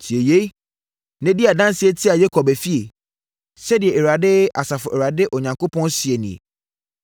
“Tie yei, na di adanseɛ tia Yakob efie,” sɛdeɛ Awurade, Asafo Awurade Onyankopɔn seɛ nie.